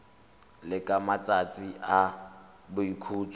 le ka matsatsi a boikhutso